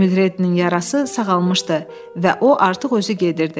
Mülrednin yarası sağalmışdı və o artıq özü gedirdi.